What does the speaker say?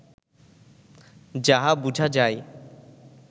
যাহা বুঝা যায়